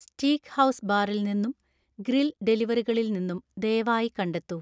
steakhouse ബാറിൽ നിന്നും grill ഡെലിവറികളിൽ നിന്നും ദയവായി കണ്ടെത്തൂ